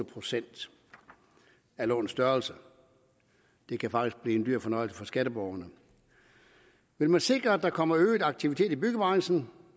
procent af lånets størrelse det kan faktisk blive en dyr fornøjelse for skatteborgerne vil man sikre at der kommer øget aktivitet i byggebranchen